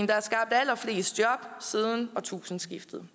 der er skabt allerflest job siden årtusindskiftet